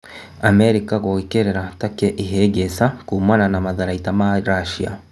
Amerika gũĩkĩrĩra Takĩ ihĩngica kuumana na matharaita ma Rasia.